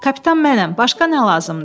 Kapitan mənəm, başqa nə lazımdır?